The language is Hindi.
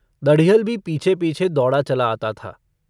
दढ़ियल भी पीछे-पीछे दौड़ा चला आता था।